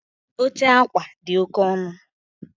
Oche akwa dị oke ọnụ